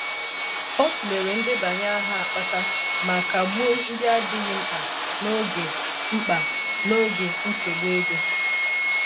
Ọ tụlere ndebanye aha akpaka ma kagbuo ndị adịghị mkpa n'oge mkpa n'oge nsogbu ego.